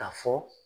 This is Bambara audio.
K'a fɔ